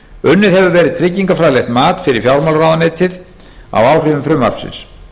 unnið hefur verið tryggingafræðilegt mat fyrir fjármálaráðuneytið á áhrifum frumvarpsins